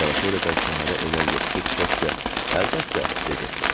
Sanatoriyadan şəhərə enən yoxuşu düşə-düşə əlbəttə, dedi.